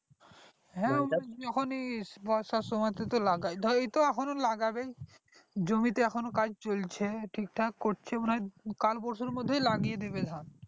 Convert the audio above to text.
যখনি বর্ষার সোমাটে তো লাগাই ধরো এই তো এখনো লাগবে জমিতে এখনো কাজ চলছে ঠিক ঠাক করছে মনে হয় কাল পরশু র মধ্যে ধান লাগিয়ে দেবে ধান